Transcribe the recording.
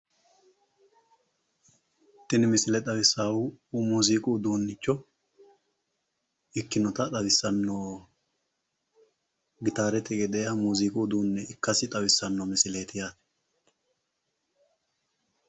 Tini misile xawissaahu muuziiqu uduunnicho ikkinota xawissanno, gitaarete gedeeha muuziiqu uduunne ikkasi xawissanno misileeti yaate.